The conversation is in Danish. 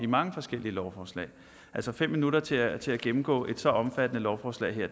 mange forskellige lovforslag fem minutter til at til at gennemgå et så omfattende lovforslag her